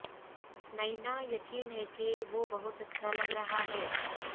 نینا یقین ہے کہ وہ بہت اچھا لگ رہا ہے